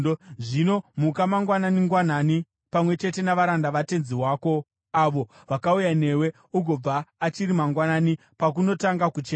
Zvino muka mangwanani-ngwanani, pamwe chete navaranda vatenzi wako avo vakauya newe, ugobva achiri mangwanani pakunotanga kuchena.”